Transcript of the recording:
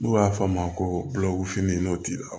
N'u b'a f'a ma ko n'o t'i la